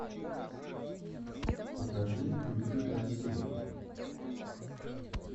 покажи уйти красиво